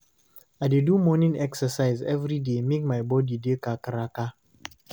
I dey do morning exercise every day make my body dey kakaraka.